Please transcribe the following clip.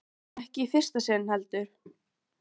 Það var ekki í fyrsta sinn, heldur.